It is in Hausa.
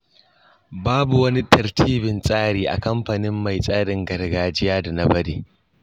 Babu wani tartibin tsari a kamfanin mai tsarin gargajiya da na bari.